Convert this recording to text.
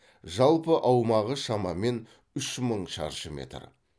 жалпы аумағы шамамен үш мың шаршы метр